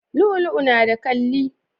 Lu'u lu'u na da kalli